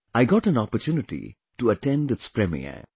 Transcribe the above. I got an opportunity to attend its premiere